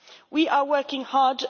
We are working hard.